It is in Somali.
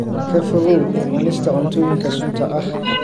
Ka fogow cunista cuntooyinka sunta ah.